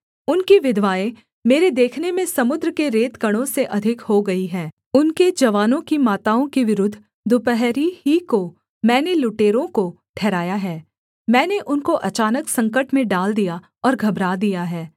उनकी विधवाएँ मेरे देखने में समुद्र के रेतकणों से अधिक हो गई हैं उनके जवानों की माताओं के विरुद्ध दुपहरी ही को मैंने लुटेरों को ठहराया है मैंने उनको अचानक संकट में डाल दिया और घबरा दिया है